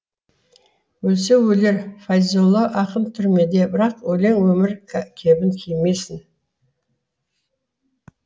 өлсе өлер файзолла ақын түрмеде бірақ өлең өмір кебін кимесін